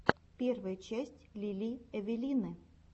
первая часть лили эвелины